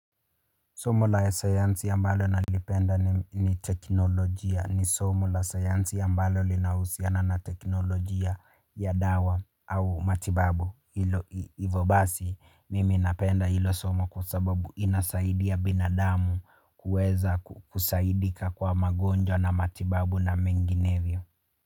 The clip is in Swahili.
Somo la sayansi ambalo nalipenda ni teknologia, ni somo la sayansi ambalo linahusiana na teknologia ya dawa au matibabu. Hivo basi mimi napenda hilo somo kwa sababu linasaidia binadamu, kuweza kusaidika kwa magonjwa na matibabu na mengineyo.